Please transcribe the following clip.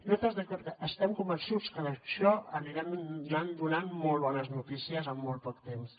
nosaltres estem convençuts que d’això n’anirem anant donant molt bones notícies amb molt poc temps